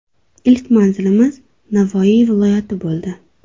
Ilk manzilimiz Navoiy viloyati bo‘ldi.